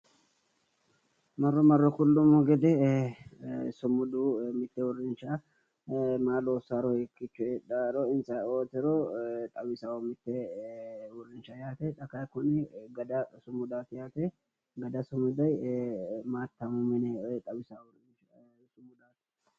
Marro marro kullummo gede sumudu mitte uurrinsha maa loossaaro, hiikiicho heedhaaro ayeeootiro xawisawo... Xa kayi kuni gada sumudaati yaate gada sumudi maatamu mine xawisanno.